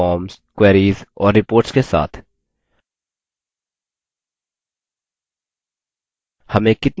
इसके सभी data संरचना data forms queries और reports के साथ